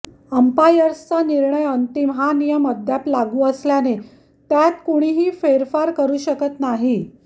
अंपायर्सचा निर्णय अंतिम हा नियम अद्याप लागू असल्याने त्यात कुणीही फेरफार करू शकत नाही